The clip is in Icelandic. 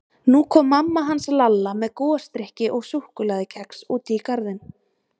Nú kom mamma hans Lalla með gosdrykki og súkkulaðikex út í garðinn.